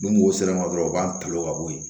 Ni mɔgɔ sera dɔrɔn u b'an to ka bo yen